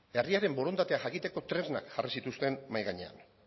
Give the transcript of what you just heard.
herriaren borondatea jakiteko tresnak jarri zituzten mahai gainean